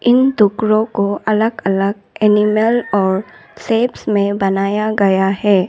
इन टुकड़ों को अलग अलग एनिमल और शेप्स में बनाया गया है।